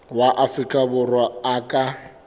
wa afrika borwa a ka